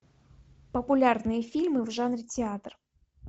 популярные фильмы в жанре театр